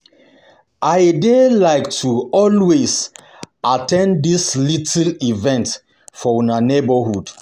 I dey like to always at ten d dis little events for una neighborhood